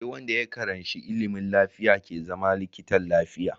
Sai Wanda ya karanshi ilimin lafiya ke zama likitan lafiya